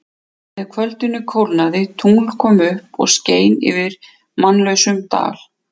Með kvöldinu kólnaði, tungl kom upp og skein yfir mannlausum dal.